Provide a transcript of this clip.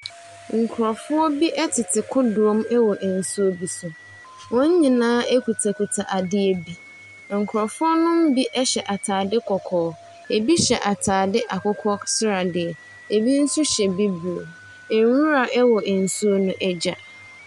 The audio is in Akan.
Nkorɔfoɔ bi ɛtete kodoɔ mu ɛwɔ ɛnsuo bi so, wɔn nyinaa ekuta kuta adeɛ bi. Nkorɔfoɔ nom bi ɛhyɛ ataade kɔkɔɔ, ebi hyɛ ataade akokɔ sradeɛ, ebi nso hyɛ bibire. Nwura ɛwɔ nsuo no agya.